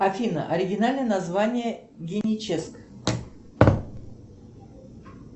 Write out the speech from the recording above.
афина оригинальное название геническ